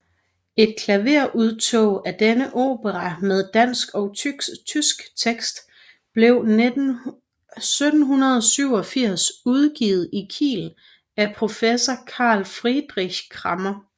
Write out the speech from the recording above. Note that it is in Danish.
Et klaverudtog af denne opera med dansk og tysk tekst blev 1787 udgivet i Kiel af professor Carl Friedrich Cramer